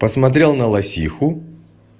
посмотрел на лосиху